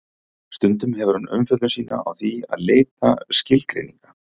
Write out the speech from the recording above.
stundum hefur hann umfjöllun sína á því að leita skilgreininga